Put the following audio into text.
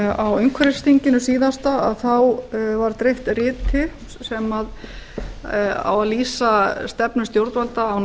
á umhverfisþingi síðasta var dreift riti sem á að lýsa stefnu stjórnvalda á